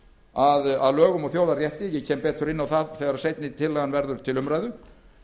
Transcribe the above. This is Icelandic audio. að lögum og þjóðarrétti ég kem betur inn á það þegar seinni tillagan verður til umræðu